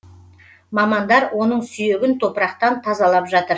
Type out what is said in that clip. мамандар оның сүйегін топырақтан тазалап жатыр